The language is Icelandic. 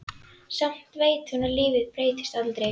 Samt veit hún að lífið breytist aldrei.